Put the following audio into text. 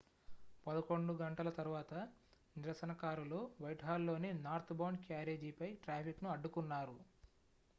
11:00 తరువాత నిరసనకారులు వైట్హాల్లోని నార్త్బౌండ్ క్యారేజీపై ట్రాఫిక్ను అడ్డుకున్నారు